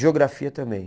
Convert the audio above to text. Geografia também.